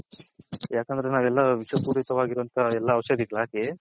ಯಾಕಂದ್ರೆ ನಾವ್ ಎಲ್ಲಾ ವಿಷ ಪುರಿಥವವಗಿರವಂಥ ಎಲ್ಲಾ ಔಷದಿಗಳು ಹಾಕಿ